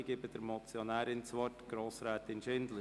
Ich gebe der Motionärin das Wort, Grossrätin Schindler.